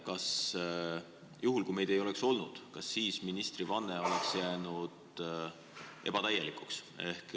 Kas juhul, kui ei oleks olnud, oleks ministri vanne jäänud ebaseaduslikuks?